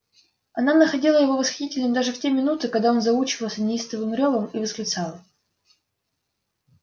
она находила его восхитительным даже в те минуты когда он заучивался неистовым рёвом и восклицала